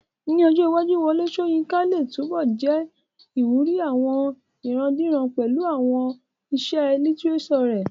Ní ọjọ́ iwájú, Wọlé Sóyinká lè túnbọ̀ jẹ́ ìwúrí àwọn ìrandíran pẹ̀lú àwọn àwọn iṣẹ́ lítírésọ̀ rẹ̀